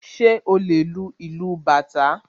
Ṣé o lè lu ìlú bàtá?